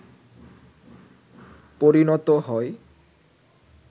পরিনত হয়